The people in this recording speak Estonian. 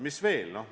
Mis veel?